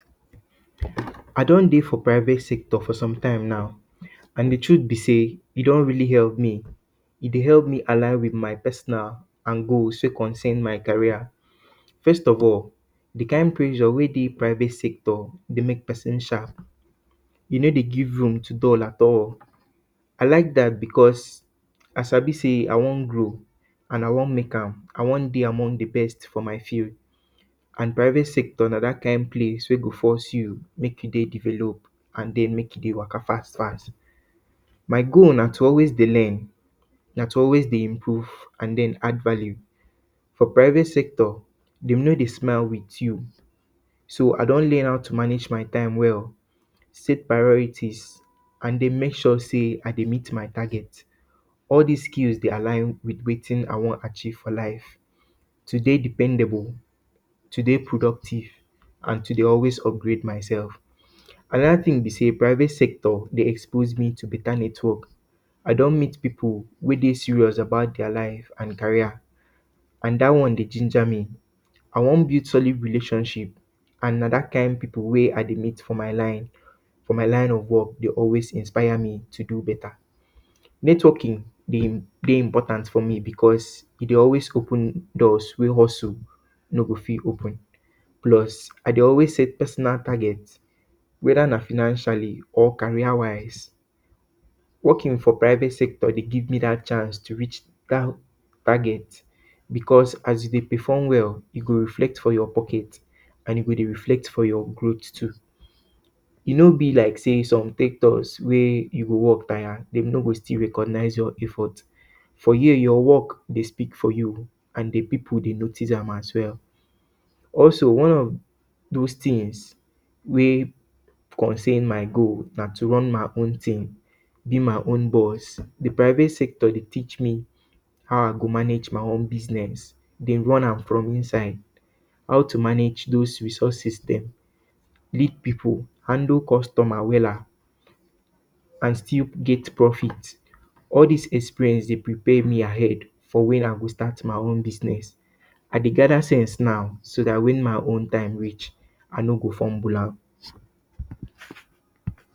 I don dey for private sector for sometime now and di truth bi say e don really help me. E dey help me align with personal and goals sake of say my career. first of all, di kind pressure wey dey for private sector dey mek pesin sharp. E no dey give room to dull at all. I lak dat because I sabi say I wan grow and I wan mek am. I wan dey among di best for my field and private sector na dat kind place wey go force you mek you dey develop and den mek you dey waka fast, fast. My goal na to always dey learn, na to always dey improve and den, ad value for private sector, de no dey smile with you. So, I don learn how to manage my time well. Save priorities and den mek sure say I dey meet my targets. All dis skills dey align with wetin I wan achieve for life to dey dependable, to dey productive and to dey always upgrade myself. Anoda tin bi say private sector dey expose me to beta network. I don meet pipu wey dey serious about dia life and career and dat one dey ginger me. I wan build solid relationship and na dat kind pipu wey I dey meet for my line, for my line of work, dey always inspire me to beta networking dey always dey important to me because e dey always open doors wey also no go fit open, plus, I dey always set personal target wed ana financially or career wise. Working for private sector dey give me dat chance to reach dat target because as e dey perform well, e dey reflect for your pocket and e go dey reflect for your clothes too. E no be like say some sectors wey you go work tire, de no go still recognize your effort. But, here, your work go speak for you and di pipu dey notice am as well. Also, one of those tins wey contain my goals na to run my own team, bi my own boss. Di private sector dey teach me how I go manage my own business, dey run am from inside, how to manage those resources dem, lead pipu, handle customers wella, still get profit, all dis experience dey prepare me ahead for wen I go start my own business. I dey gather sense now, so dat wen dat wen my own time reach, I no go fumble am.